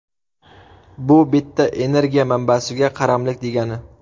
Bu bitta energiya manbasiga qaramlik degani.